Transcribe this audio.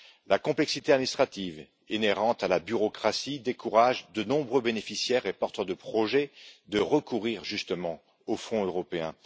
La complexité administrative inhérente à la bureaucratie décourage de nombreux bénéficiaires et porteurs de projets de recourir aux fonds européens.